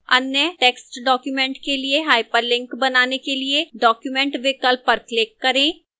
अन्य text document के लिए hyperlink बनाने के लिए document विकल्प पर click करें